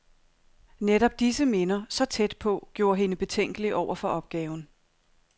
Netop disse minder, så tæt på, gjorde hende betænkelig over for opgaven.